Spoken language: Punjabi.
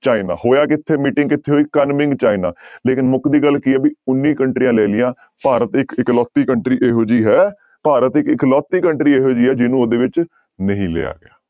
ਚਾਈਨਾ ਹੋਇਆ ਕਿੱਥੇ meeting ਕਿੱਥੇ ਹੋਈ ਕਨਮਿੰਗ ਚਾਈਨਾ ਲੇਕਿੰਨ ਮੁਕਦੀ ਗੱਲ ਕੀ ਹੈ ਵੀ ਉੱਨੀ ਕੰਟਰੀਆਂ ਲੈ ਲਈਆਂ ਭਾਰਤ ਇੱਕ ਇੱਕ ਲੋਤੀ country ਇਹੋ ਜਿਹੀ ਹੈ ਭਾਰਤ ਇੱਕ ਇਕਲੋਤੀ country ਇਹੋ ਜਿਹੀ ਹੈ ਜਿਹਨੂੰ ਉਹਦੇ ਵਿੱਚ ਨਹੀਂ ਲਿਆ ਗਿਆ।